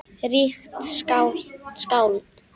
Ríkt skáld!